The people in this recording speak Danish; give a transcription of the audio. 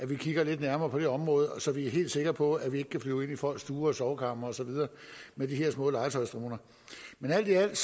vi kigger lidt nærmere på det område så vi er helt sikre på at man ikke kan flyve ind i folks stuer og sovekamre og så videre med de her små legetøjsdroner men alt